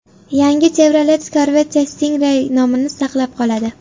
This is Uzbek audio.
Yangi Chevrolet Corvette Stingray nomini saqlab qoladi.